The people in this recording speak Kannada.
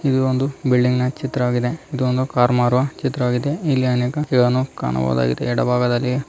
ಇದೊಂದು ಬಿಲ್ಡಿಂಗ್ನ ಚಿತ್ರವಾಗಿದೆ ಇದೊಂದು ಕಾರ್ ಮಾರುವ ಚಿತ್ರವಾಗಿದೆ ಇಲ್ಲಿ ಅನೇಕ ಇದನ್ನು ಕಾಣಬಹುದಾಗಿದೆ ಎಡಭಾಗದಲ್ಲಿ --